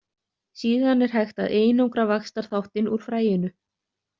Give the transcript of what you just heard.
Síðan er hægt að einangra vaxtarþáttinn úr fræinu.